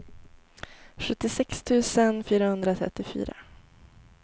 sjuttiosex tusen fyrahundratrettiofyra